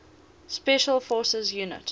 special forces units